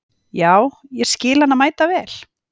Já, ég skil hana mæta vel.